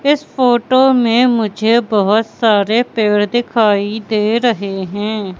इस फोटो में मुझे बहोत सारे पेड़ दिखाई दे रहे हैं।